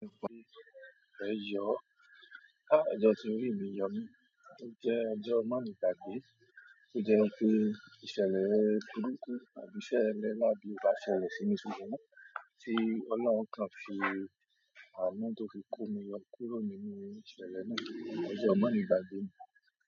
Ẹ̀yọ, á ọjọ́ tí orí mi yọ mí, ó jẹ́ ọjọ́ mòlegbàgbé, tó jẹ́ pé ìṣẹ̀lẹ̀ burúkú àbí iṣẹ́ ẹlẹ́làbí obá ṣẹlẹ̀ sí mi ṣùgbọ́n tí Ọlọ́run kan fi ànu to fi kó mi yo kúrò nínú ìṣẹ̀lẹ̀ náà. Ọjọ́ mòlegbàgbé ni.